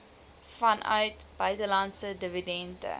vanuit buitelandse dividende